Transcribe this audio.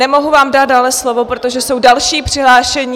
Nemohu vám dát dále slovo, protože jsou další přihlášení...